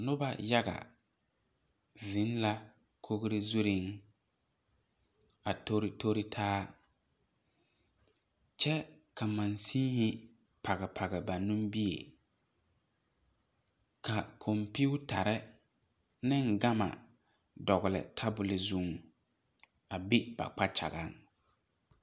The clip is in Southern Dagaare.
Noba yaga zeŋ la kogri zuriŋ a tori tori taa kyɛ ka mansihi page page ba nimibie ka kompetare ane gama dogli tabuli zuŋ a be ba kpakyagaŋ.